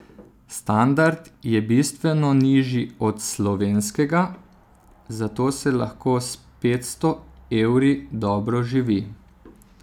Standard je bistveno nižji od slovenskega, zato se lahko s petsto evri dobro živi.